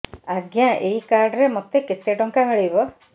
ଆଜ୍ଞା ଏଇ କାର୍ଡ ରେ ମୋତେ କେତେ ଟଙ୍କା ମିଳିବ